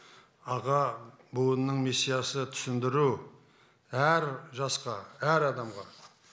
аға буынның миссиясы түсіндіру әр жасқа әр адамға